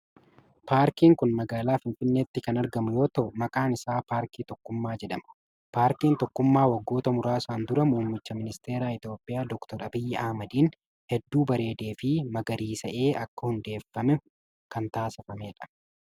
Paarjiin kun magaalaa Finfinneetti kan argamu yoo ta'u, maqaan isaa Paarkii Tokkummaa jedhama. Paarkiin Tokkummaa waggoota muraasan dura muummicha ministeeraa Itoophiyaa Doktar Abiyyi Ahimadiin hedduu bareedee fi magariisa'ee akka hundeeffamu kan taasifamee dha.